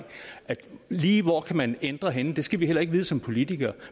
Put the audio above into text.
lige hvor man kan ændre henne det skal vi heller ikke vide som politikere